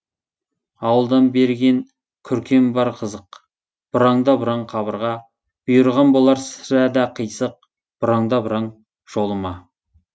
ауылдан берген күркем бар қызық бұраң да бұраң қабырға бұйырған болар сірә да қисық бұраң да бұраң жолыма